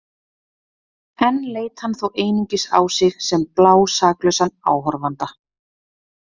Enn leit hann þó einungis á sig sem blásaklausan áhorfanda.